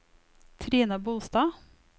Trine Bolstad